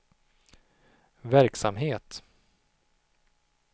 verksamhet